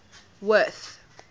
worth